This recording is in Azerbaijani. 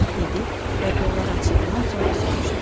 Dedi və qolları açılanandan sonra soruşdu.